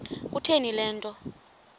kutheni le nto